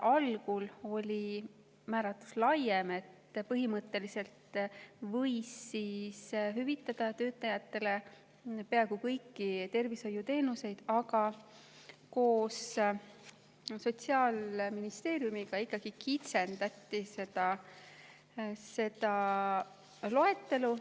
Algul oli määratlus laiem, et põhimõtteliselt võiks hüvitada töötajatele peaaegu kõiki tervishoiuteenuseid, aga koos Sotsiaalministeeriumiga ikkagi kitsendati seda loetelu.